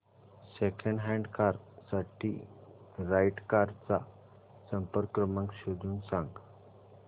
second hand car साठी right cars चा संपर्क क्रमांक शोधून सांग